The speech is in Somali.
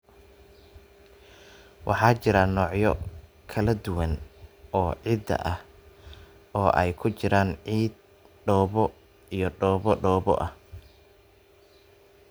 Waxaa jira noocyo kala duwan oo ciidda ah, oo ay ku jiraan ciid, dhoobo, iyo dhoobo dhoobo ah.